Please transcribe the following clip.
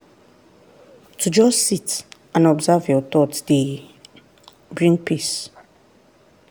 to just sit and observe your thoughts dey bring peace.